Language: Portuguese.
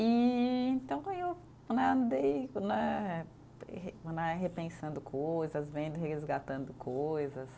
E então eu né, andei né, re né repensando coisas, vendo e resgatando coisas.